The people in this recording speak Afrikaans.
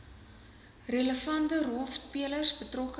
relevante rolspelers betrokke